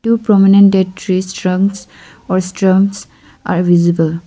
two prominent dead trees trunks or are visible.